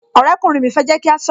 Ọ̀rẹ́ kùnrin mi fẹ́ jẹ́ kí a sọ̀rọ̀